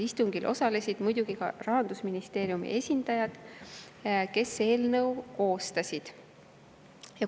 Istungil osalesid muidugi ka Rahandusministeeriumi esindajad, kes eelnõu koostasid.